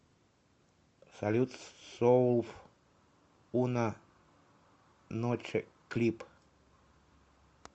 салют соуф уна ноче клип